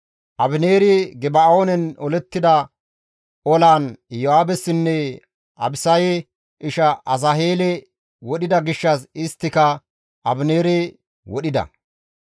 Abineeri Geba7oonen olettida olaan Iyo7aabessinne Abisaye ishaa Asaheele wodhida gishshas isttika Abineere wodhida.